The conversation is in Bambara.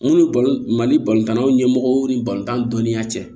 Mun ni mali ɲɛmɔgɔw ni balontan dɔnniya cɛ